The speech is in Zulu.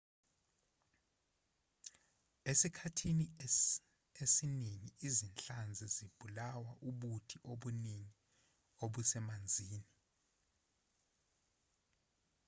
esikhathini esiningi izinhlanzi zibulawa ubuthi obuningi obusemanzini